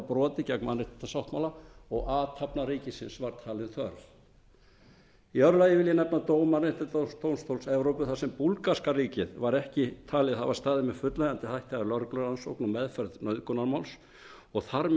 brotið gegn mannréttindasáttmála og athafna ríkisins var talin þörf í öðru lagi vil ég nefna dóm mannréttindadómstóls evrópu þar sem búlgarska ríkið var ekki talið hafa staðið með fullnægjandi hætti að lögreglurannsókn og meðferð nauðgunarmáls og þar með